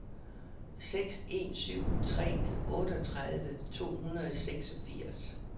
seks en syv tre otteogtredive to hundrede og seksogfirs